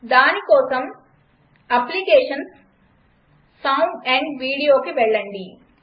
దానికోసం applications GT sound AMP Videoకి వెళ్లండి